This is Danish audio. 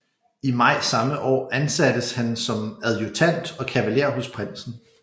I maj samme år ansattes han som adjudant og kavaler hos prinsen